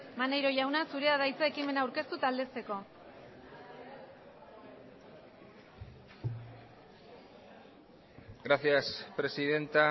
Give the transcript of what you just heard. maneiro jauna zurea da hitza ekimena aurkeztu eta aldezteko gracias presidenta